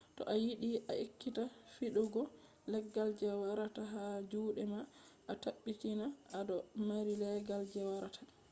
to a yiɗi a ekkita fiɗugo leggal je wartata ha juɗe ma a tabbitina a do mari leggal je wartata